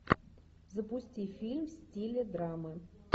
запусти фильм в стиле драмы